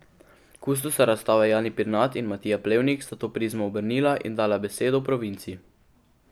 Kustosa razstave Jani Pirnat in Matija Plevnik sta to prizmo obrnila in dala besedo provinci.